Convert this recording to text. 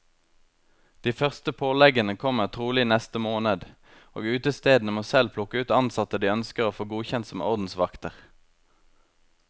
De første påleggene kommer trolig i neste måned, og utestedene må selv plukke ut ansatte de ønsker å få godkjent som ordensvakter.